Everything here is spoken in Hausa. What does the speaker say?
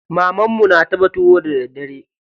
Mamarmu na dafa tuwo da daddare.